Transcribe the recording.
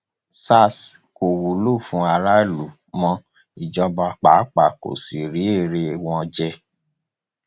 sars kò wúlò fún aráàlú mọ ìjọba pàápàá kó sì rí èrè wọn jẹ